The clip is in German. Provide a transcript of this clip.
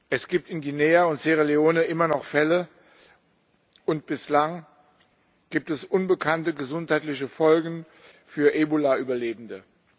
Es gibt in Guinea und Sierra Leone immer noch Fälle und bislang gibt es unbekannte gesundheitliche Folgen für Ebola Überlebende.